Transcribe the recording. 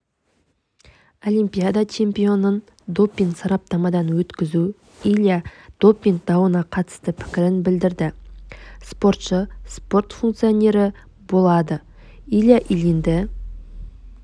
олимпиада чемпионын допинг-сараптамадан өткізу илья допинг дауына қатысты пікірін білдірді спортшы спорт функционері болады илья ильинді